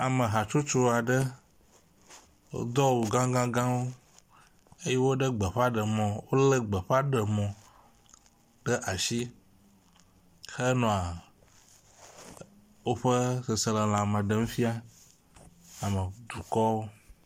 Ame hatsotso aɖe, wodo awu gã gãwo eye wolé gbeƒaɖemɔ, wolé gbeƒaɖemɔ ɖe asi henɔa woƒe sesẽlelãme ɖem fia dukɔwo.